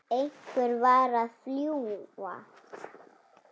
Einhver varð að fjúka.